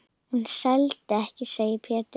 Hún seldist ekki, segir Pétur.